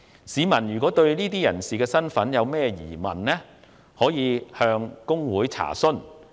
市民如對個別人士的身份有任何疑問，可以向公會查詢。